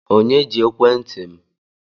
Onye ji ekwentị m?